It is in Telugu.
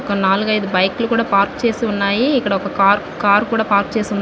కొన్నాళ్లుగా ఇది బైక్ లు కూడా పార్క్ చేసి ఉన్నాయి ఇక్కడొక కార్ కారు కూడా పార్క్ చేస్ --